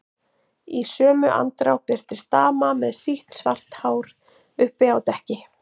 Í sömu andrá birtist dama með sítt, svart hár uppi á dekki.